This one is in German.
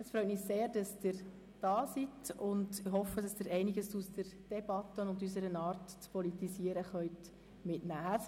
Es freut mich sehr, dass Sie hier sind, und ich hoffe, dass Sie einiges aus der Debatte und aus unserer Art zu politisieren mitnehmen können.